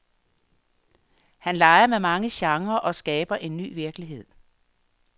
Han leger med mange genrer og skaber en ny virkelighed.